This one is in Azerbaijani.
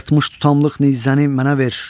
60 tutamlıq nizəni mənə ver.